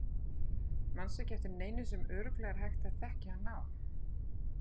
Manstu ekki eftir neinu sem örugglega er hægt að þekkja hann á?